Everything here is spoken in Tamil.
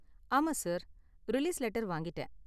ஆமா, சார். ரிலீஸ் லெட்டர் வாங்கிட்டேன்.